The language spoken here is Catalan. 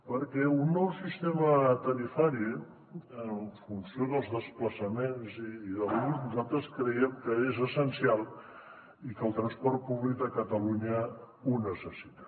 perquè un nou sistema tarifari en funció dels desplaçaments i de l’ús nosaltres creiem que és essencial i que el transport públic de catalunya el necessita